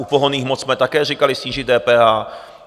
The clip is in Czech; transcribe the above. U pohonných hmot jsme také říkali snížit DPH.